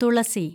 തുളസി